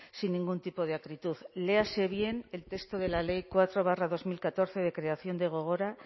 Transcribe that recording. sin ningún tipo de acritud léase bien el texto de la ley cuatro barra dos mil catorce de creación de gogora